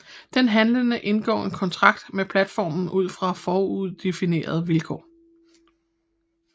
Den handlende indgår en kontrakt med platformen ud fra foruddefinerede vilkår